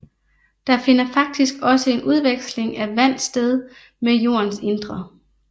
Der finder faktisk også en udveksling af vand sted med jordens indre